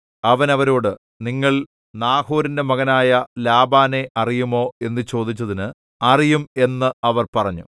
അവൻ അവരോട് നിങ്ങൾ നാഹോരിന്റെ മകനായ ലാബാനെ അറിയുമോ എന്നു ചോദിച്ചതിന് അറിയും എന്ന് അവർ പറഞ്ഞു